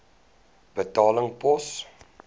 betaling pos